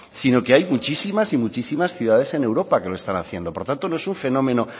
sino que hay muchísimas y muchísimas ciudades en europa que lo están haciendo por tanto no es un fenómeno